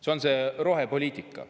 See on see rohepoliitika.